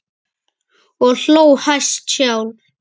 Og hló hæst sjálf.